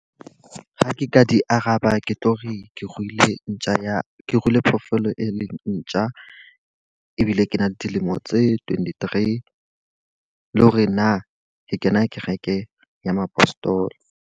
Ha ke ka di araba ke tlo re ke ruile ntja ya, ke ruile phoofolo e leng ntja. Ebile ke na le dilemo tse twenty-three, le hore na ke kena kereke ya mapostola.